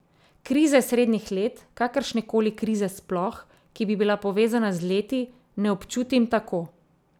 Krize srednjih let, kakršnekoli krize sploh, ki bi bila povezana z leti, ne občutim tako.